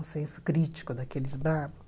O senso crítico daqueles bravos.